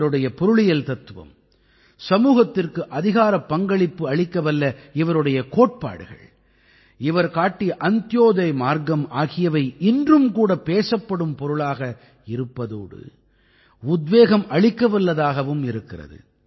இவருடைய பொருளியல் தத்துவம் சமூகத்திற்கு அதிகாரப் பங்களிப்பு அளிக்கவல்ல இவருடைய கோட்பாடுகள் இவர் காட்டிய அந்த்யோதய் மார்க்கம் ஆகியவை இன்றும் கூட பேசப்படும் பொருளாக இருப்பதோடு உத்வேகம் அளிக்கவல்லதாகவும் இருக்கிறது